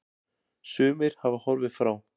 Sumir hafa horfið frá.